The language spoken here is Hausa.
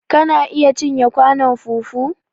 Kana iya cinye kwanon fufu?